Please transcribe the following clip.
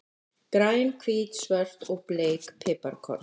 Græn, hvít, svört og bleik piparkorn.